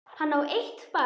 Hann á eitt barn.